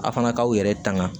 A fana k'aw yɛrɛ tanga